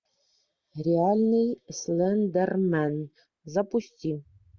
реальный слендермен запусти